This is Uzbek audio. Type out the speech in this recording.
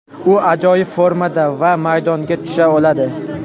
U ajoyib formada va maydonga tusha oladi.